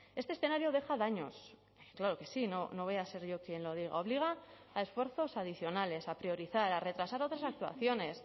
este escenario deja daños claro que sí no voy a ser yo quien lo diga obliga a esfuerzos adicionales a priorizar a retrasar otras actuaciones